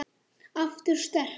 En það sváfu ekki allir.